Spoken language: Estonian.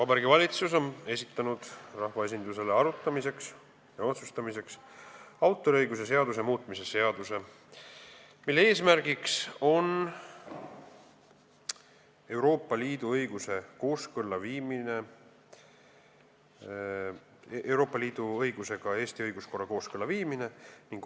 Vabariigi Valitsus on esitanud rahvaesindusele arutamiseks ja otsustamiseks autoriõiguse seaduse muutmise seaduse eelnõu, mille eesmärk on Eesti õiguskorra Euroopa Liidu õigusega kooskõlla viimine.